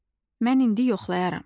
Mən indi yoxlayaram.